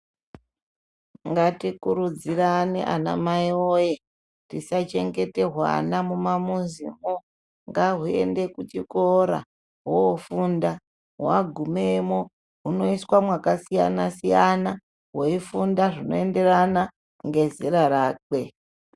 Ngatikurudzirane ana mai woye tisachengete hwana mumamuzimwo, hwana ngahuende kuchikora hwofunda. Hwagumemwo hunoiswa mwakasiyana siyana hweifunda zvinoenderana rezera rake.